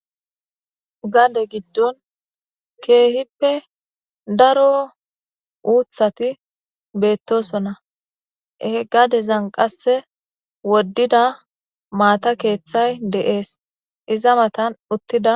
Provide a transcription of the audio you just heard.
Gade giddon keehippe daro uuthati beettosona. He gadezan qasse woddida maata keeththay deees. Iza matan uttida..